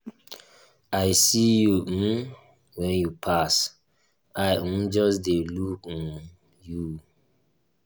i see you um wen you pass i um just dey look um you.